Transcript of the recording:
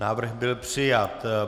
Návrh byl přijat.